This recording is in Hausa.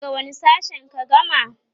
daga wani sashen ka gama?